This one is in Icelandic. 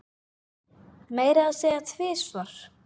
Meira að segja tvisvar